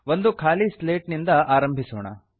ಒಂದು ಖಾಲಿ ಸ್ಲೇಟಿನಿಂದ ಆರಂಭಿಸೋಣ